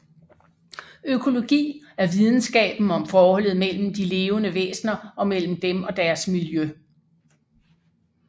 Økologi er videnskaben om forholdet mellem de levende væsner og mellem dem og deres miljø